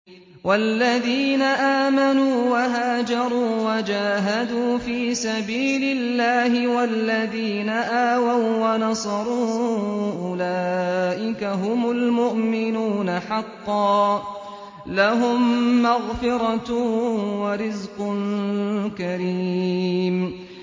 وَالَّذِينَ آمَنُوا وَهَاجَرُوا وَجَاهَدُوا فِي سَبِيلِ اللَّهِ وَالَّذِينَ آوَوا وَّنَصَرُوا أُولَٰئِكَ هُمُ الْمُؤْمِنُونَ حَقًّا ۚ لَّهُم مَّغْفِرَةٌ وَرِزْقٌ كَرِيمٌ